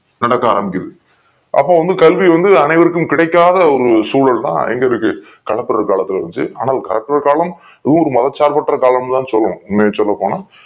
நடக்க ஆரம்பிக்கிது அப்போ கல்வி வந்து அனைவருக்கும் கிடைக்காத ஒரு சுழல் தான் எங்களுக்கு கலப்பிறு காலத்துள்ள இருந்துச்சி ஆனா கலப்பிறு காலம் ஊர் மதசார்ப் பற்ற காலம்ல்லா சொல்லுவோம் உன்மைய சொல்லப்போனா